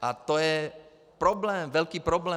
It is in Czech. A to je problém, velký problém.